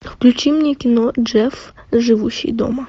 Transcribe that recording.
включи мне кино джефф живущий дома